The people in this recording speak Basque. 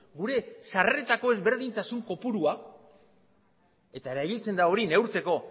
gure sarreretako ezberdintasun kopurua eta erabiltzen da hori neurtzeko